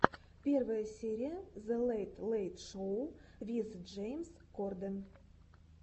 первая серия зе лэйт лэйт шоу виз джеймс корден